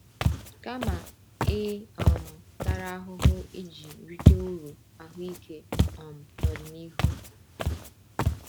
Kama, ị um tara ahụhụ iji rite uru ahụike um n’ọdịnihu.